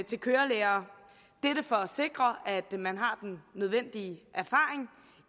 til kørelærere for at sikre at man har den nødvendige erfaring